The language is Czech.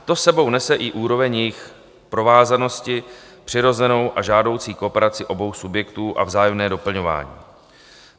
To s sebou nese i úroveň jejich provázanosti, přirozenou a žádoucí kooperaci obou subjektů a vzájemné doplňování.